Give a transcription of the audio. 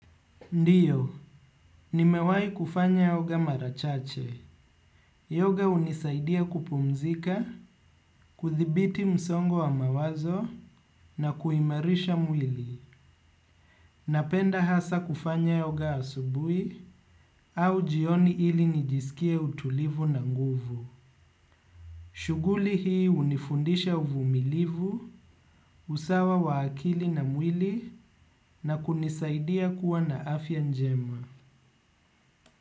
Ndio, nimewahi kufanya yoga mara chache. Yoga hunisaidia kupumzika, kuthibiti msongo wa mawazo na kuimarisha mwili. Napenda hasa kufanya yoga asubuhi au jioni ili nijisikie utulivu na nguvu. Shughuli hii hunifundisha uvumilivu, usawa wa akili na mwili na kunisaidia kuwa na afya njema.